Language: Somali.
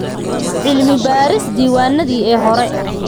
Cilmi baaris diiwaanadii ee hore.